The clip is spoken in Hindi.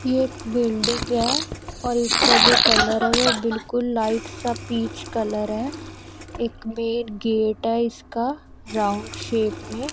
एक बिल्डिंग है और उसका जो कलर है वो बिल्कुल लाइट सा पीच कलर है एक मेन गेट है इसका राउंड शेप में--